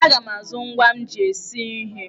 Aga m azụ ngwa m ji esi ihe.